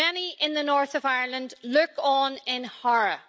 Many in the North of Ireland look on in horror.